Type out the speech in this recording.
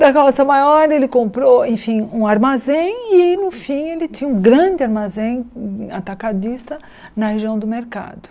Da carroça maior, ele comprou, enfim, um armazém e, no fim, ele tinha um grande armazém atacadista na região do mercado.